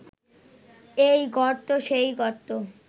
এই গর্ত সেই গর্ত